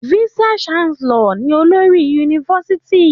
Vice chancellor ni olórí yunifásitì.